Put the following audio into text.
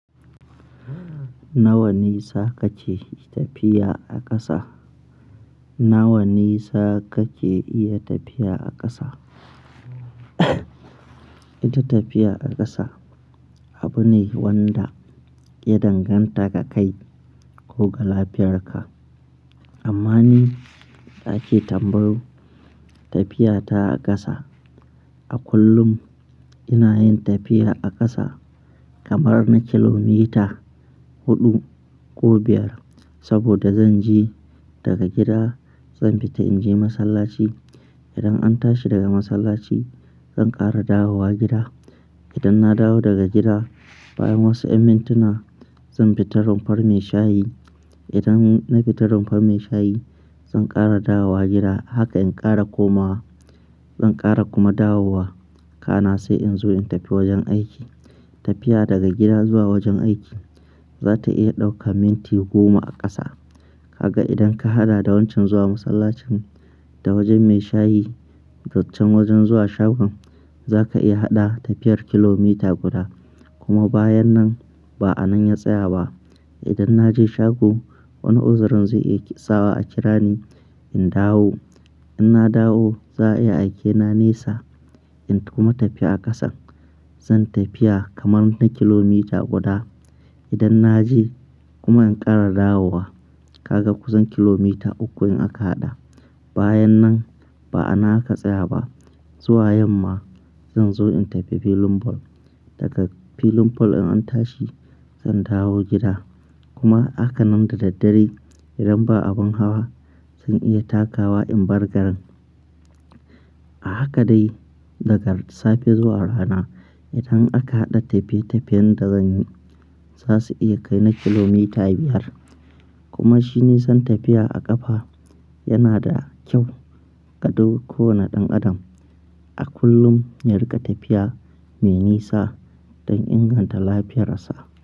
Nawa nisa kake tafiya a ƙasa? Nawa nisa kake iya tafiya a ƙasa? Ita tafiya a ƙasa abu ne wanda ya danganta ga kai ko ga lafiyarka. Amma ni da ake tambayo tafiya ta ƙasa. A kullum ina yin tafiya a ƙasa kamar na kilomita huɗu ko biyar. Saboda zan je daga gida, zan fita in je masallaci. Idan an tashi daga masallaci zan ƙara dawowa gida. Idan na dawo daga gida bayan wasu ƴan mintuna zan fita rumfar mai shayi. Idan na fita rumfar mai shayi zan ƙara dawowa gida. Haka in ƙara komawa, zan ƙara kuma dawowa. Kana sai in zo in tafi wajen aiki. Tafiya daga gida zuwa wajen aiki za ta iya ɗauka minti goma a ƙasa. Kaga idan ka haɗa da wancan zuwa masallacin da wajen mai shayi da can wajen zuwa shagon, za ka iya haɗa tafiyar kilomita guda. Kuma bayan nan ba a nan ya tsaya ba. Idan na je shago wani uzurin zai iya tsawa a kira ni, in dawo. In na dawo za a iya aike na nesa, in kuma tafi a ƙasan. Zan tafiya kamar na kilomita guda. Idan na je kuma in ƙara dawowa, kaga kusan kilomita uku in aka haɗa. Bayan nan ba a nan aka tsaya ba. Zuwa yamma zan zo in tafi filin ball. Daga filin bol in an tashi zan dawo gida. Kuma haka nan da daddare idan ba abin hawa zan iya takawa in bar garin. A haka dai daga safe zuwa rana idan aka haɗa tafiye-tafiyen da zan yi za su iya kai na kilomita biyar. Kuma shi nisan tafiya a ƙafa yana da kyau ga duk kowane ɗan adam. A kullum yariƙa tafiya mai nisa don inganta lafiyar sa.